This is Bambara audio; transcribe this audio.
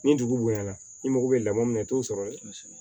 Ni dugu bonya na i mago bɛ lamɔ min na i t'o sɔrɔ ye